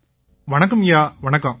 வணக்கம்யா வணக்கம்